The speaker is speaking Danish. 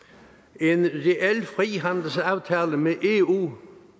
en reel frihandelsaftale med